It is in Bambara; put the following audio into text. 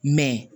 Mɛ